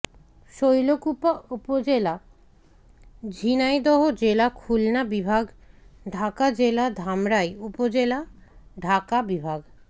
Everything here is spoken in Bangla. শৈলকুপা উপজেলা ঝিনাইদহ জেলা খুলনা বিভাগ ঢাকা জেলা ধামরাই উপজেলা ঢাকা বিভাগ